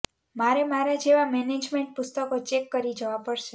મારે મારા જેવાં મેનેજમેન્ટ પુસ્તકો ચેક કરી જવાં પડશે